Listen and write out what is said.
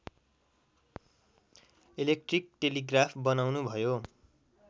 electric telegraph बनाउनुभयो